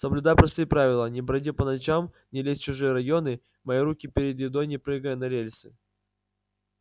соблюдай простые правила не броди по ночам не лезь в чужие районы мой руки перед едой не прыгая на рельсы